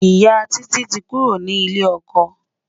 ìyá Títí tí kúrò ní ilè okò